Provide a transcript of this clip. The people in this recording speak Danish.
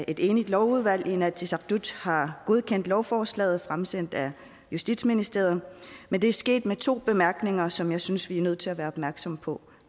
et enigt lovudvalg i inatsisartut har godkendt lovforslaget fremsendt af justitsministeriet men det er sket med to bemærkninger som jeg synes vi er nødt til at være opmærksomme på